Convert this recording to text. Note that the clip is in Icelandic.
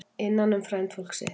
Innan um frændfólk sitt